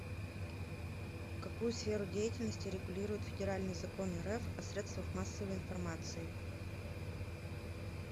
какую сферу деятельности регулирует федеральный закон рф о средствах массовой информации